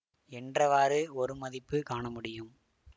என்றவாறு ஒரு மதிப்பு காணமுடியும்